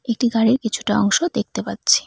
একটি গাড়ির কিছুটা অংশ দেখতে পাচ্ছি।